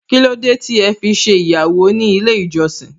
Kílódé tí ẹ fi ṣe ìgbéyàwó ní ilé ìjọsìn?